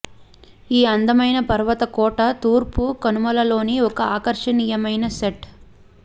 ఈ అందమైన పర్వత కోట తూర్పు కనుమలలోని ఒక ఆకర్షనీయమైన సెట్